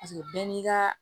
Paseke bɛɛ n'i ka